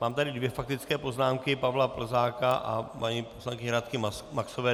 Mám tady dvě faktické poznámky: Pavla Plzáka a paní poslankyně Radky Maxové.